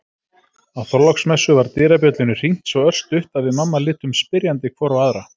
Á Þorláksmessu var dyrabjöllunni hringt svo örstutt að við mamma litum spyrjandi hvor á aðra.